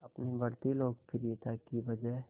अपनी बढ़ती लोकप्रियता की वजह